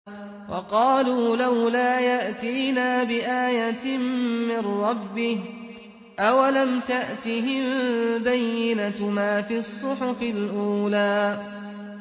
وَقَالُوا لَوْلَا يَأْتِينَا بِآيَةٍ مِّن رَّبِّهِ ۚ أَوَلَمْ تَأْتِهِم بَيِّنَةُ مَا فِي الصُّحُفِ الْأُولَىٰ